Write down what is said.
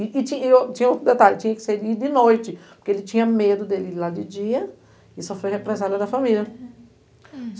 E tinha tinha outro detalhe, tinha que sair de noite, porque ele tinha medo dele ir lá de dia e sofreu a represália da família.